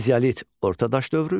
Mezalit, ortadaş dövrü,